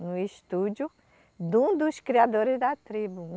No estúdio de um dos criadores da tribo.